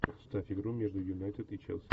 поставь игру между юнайтед и челси